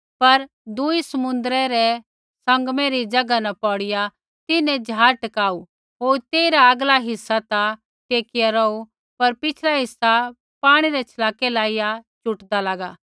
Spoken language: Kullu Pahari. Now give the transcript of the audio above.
पर दुई समुन्द्रै रै सँगमै री ज़ैगा न पौड़िया तिन्हैं ज़हाज़ टकाऊ होर तेइरा आगला हिस्सा ता टेकी रौही पर पिछ़ला हिस्सा पाणी रै छलाकै लाइया चुटदा लागा